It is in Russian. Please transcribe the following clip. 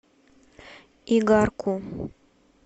игарку